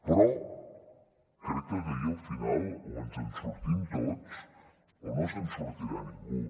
però crec que aquí al final o ens en sortim tots o no se’n sortirà ningú